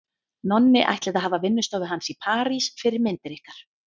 Nonni ætlið að hafa vinnustofu hans í París fyrir myndir ykkar.